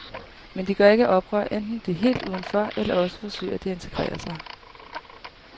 Men de gør ikke oprør, enten er de helt udenfor, eller også forsøger de at integrere sig.